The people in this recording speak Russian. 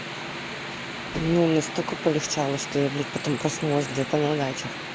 ну настолько полегчало что я блять потом проснулась где-то на дачах